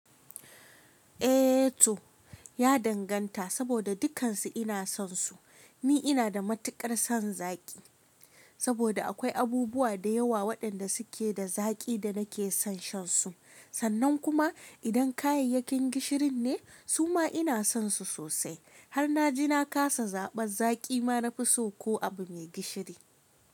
Eh to, ya danganta, saboda duk kansu ina son su. Ni ina da matukar son zaki, saboda akwai abubuwa da yawa waɗanda suke da zaki da nake son shan su. Sannan kuma idan kayayyakin gishirin ne suma ina sonsu sosai, har na ji na kasa zaɓar zaki ma na fi so ko abu mai gishiri.